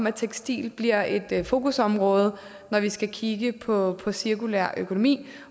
at tekstiler bliver et fokusområde når vi skal kigge på cirkulær økonomi